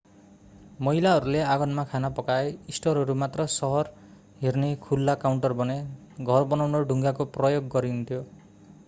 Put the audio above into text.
महिलाहरूले आँगनमा खाना पकाए स्टोरहरू मात्र सहर हेर्ने खुल्ला काउन्टर बने घर बनाउन ढुङ्गाको प्रयोग गरिएन्थ्यो